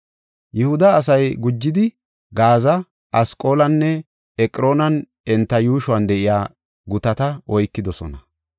Yihuda asay gujidi Gaaza, Asqaloona, Eqroonanne enta yuushuwan de7iya gutata oykidosona.